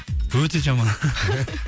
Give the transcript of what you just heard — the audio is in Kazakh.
өте жаман